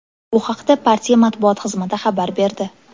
Bu haqda partiya matbuot xizmati xabar berdi.